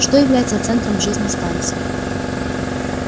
что является центром жизни станции